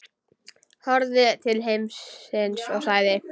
Horfði til himins og sagði: